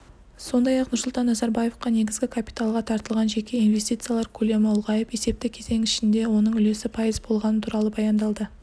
сондай-ақ нұрсұлтан назарбаевқа негізгі капиталға тартылған жеке инвестициялар көлемі ұлғайып есепті кезең ішінде оның үлесі пайыз болғаны туралы баяндалды